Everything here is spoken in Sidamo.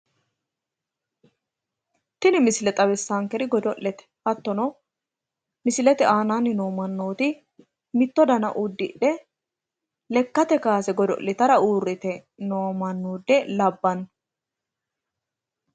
Tini misile xawissaankeri godo'lete hattono misilete aana noo mannooti mitto dana uddidhe lekkate kaase godo'litara uurrite noo mannoota labbanno.